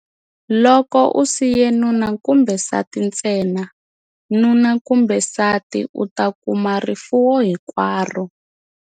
Loko u siye nuna kumbe nsati ntsena, nuna kumbe nsati u ta kuma rifuwo hinkwaro.